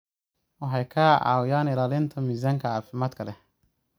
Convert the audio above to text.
Waxay ka caawiyaan ilaalinta miisaanka caafimaadka leh.